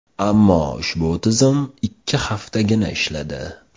Ammo ushbu tizim ikki haftagina ishladi.